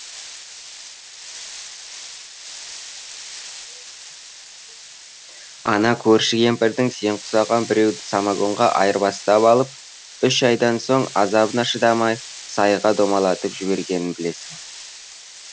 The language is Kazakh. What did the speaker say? ана көрші кемпірдің сен құсаған біреуді самогонға айырбастап алып үш айдан соң азабына шыдамай сайға домалатып жібергенін білесің